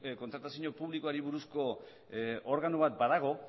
kontratazio publikoari buruzko organo bat badago